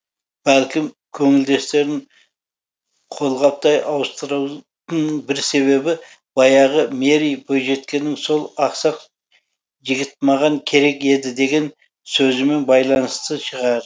бәлкім көңілдестерін қолғаптай ауыстыруының бір себебі баяғы мэри бойжеткеннің сол ақсақ жігіт маған керек еді деген сөзімен байланысты шығар